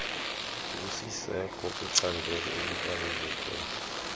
lusyiyeka kulicandelo elibaluleke